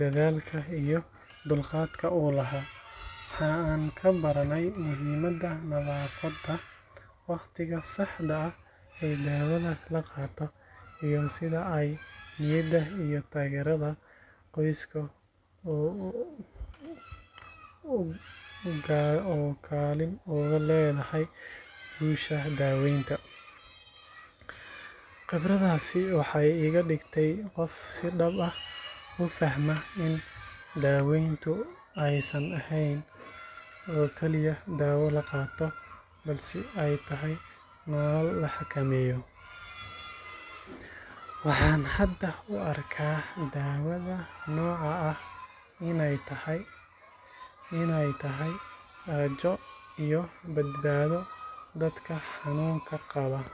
dadaalka iyo dulqaadka uu lahaa. Waxa aan ka baranay muhiimadda nadaafadda, waqtiga saxda ah ee daawada la qaato, iyo sida ay niyadda iyo taageerada qoysku ugaalin ugu leedahay guusha daaweynta. Khibradaasi waxay iga dhigtay qof si dhab ah u fahma in daaweyntu aysan ahayn oo kaliya dawo la qaato, balse ay tahay nolol la xakameeyo. Waxaan hadda u arkaa daawada noocan ah iney tahay rajo iyo badbaado dadka xanuunka qaba.